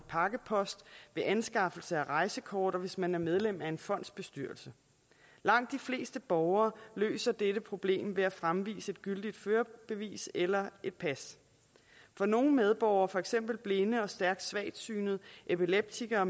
pakkepost ved anskaffelse af rejsekort og hvis man er medlem af en fondsbestyrelse langt de fleste borgere løser dette problem ved at fremvise et gyldigt førerbevis eller et pas for nogle medborgere for eksempel blinde stærkt svagtsynede og epileptikere